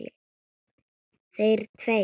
Þeir tveir.